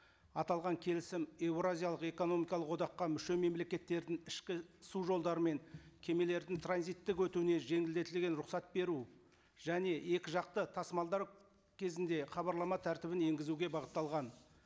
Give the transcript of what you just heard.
аталған келісім еуразиялық экономикалық одаққа мүше мемлекеттердің ішкі су жолдары мен кемелердің транзиттік өтуіне жеңілдетілген рұқсат беру және екі жақты тасымалдар кезінде хабарлама тәртібін енгізуге бағытталған